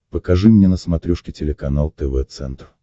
покажи мне на смотрешке телеканал тв центр